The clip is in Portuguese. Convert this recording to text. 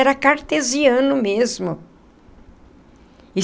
Era cartesiano mesmo.